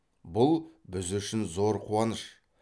бұл біз үшін зор қуаныш